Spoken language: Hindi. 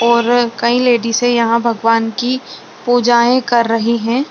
और कई लेडीजे यहाँ भगवान की पूजाएं कर रही हैं।